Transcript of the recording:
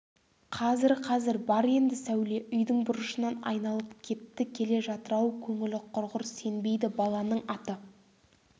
қазір қазір бар енді сәуле үйдің бұрышынан айналып кетті келе жатыр-ау көңілі құрғыр сенбейді баланың аты